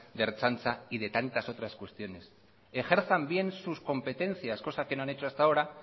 de ertzaintza y de tantas otras cuestiones ejerzan bien sus competencias cosa que no han hecho hasta ahora